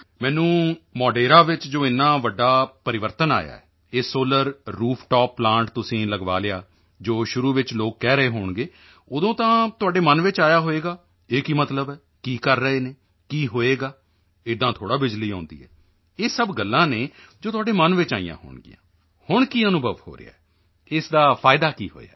ਮੈਨੂੰ ਮੋਢੇਰਾ ਵਿੱਚ ਜੋ ਏਨਾ ਵੱਡਾ ਪਰਿਵਰਤਨ ਆਇਆ ਇਹ ਸੋਲਰ ਰੂਫ ਟੌਪ ਪਲਾਂਟ ਤੁਸੀਂ ਲਗਵਾ ਲਿਆ ਜੋ ਸ਼ੁਰੂ ਵਿੱਚ ਲੋਕ ਕਹਿ ਰਹੇ ਹੋਣਗੇ ਉਦੋਂ ਤਾਂ ਤੁਹਾਡੇ ਮਨ ਵਿੱਚ ਆਇਆ ਹੋਵੇਗਾ ਇਹ ਕੀ ਮਤਲਬ ਹੈ ਕੀ ਕਰ ਰਹੇ ਹਨ ਕੀ ਹੋਵੇਗਾ ਏਦਾਂ ਥੋੜ੍ਹਾ ਬਿਜਲੀ ਆਉਂਦੀ ਹੈ ਇਹ ਸਭ ਗੱਲਾਂ ਹਨ ਜੋ ਤੁਹਾਡੇ ਮਨ ਵਿੱਚ ਆਈਆਂ ਹੋਣਗੀਆਂ ਹੁਣ ਕੀ ਅਨੁਭਵ ਹੋ ਰਿਹਾ ਹੈ ਇਸ ਦਾ ਫਾਇਦਾ ਕੀ ਹੋਇਆ ਹੈ